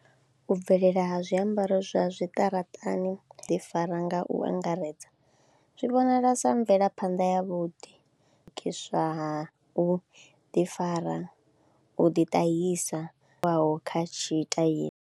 U bvelela ha zwiambaro zwa zwi ṱaraṱani u ḓifara nga u angaredza zwi vhonala sa mvelaphanḓa yavhuḓi ha u ḓifara, u ḓitahisa hu bvaho kha tshitaila.